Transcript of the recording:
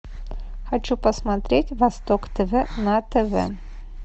хочу посмотреть восток тв на тв